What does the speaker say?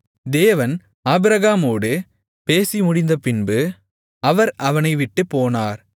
தேவன் ஆபிரகாமோடு பேசிமுடிந்தபின்பு அவர் அவனைவிட்டுப் போனார்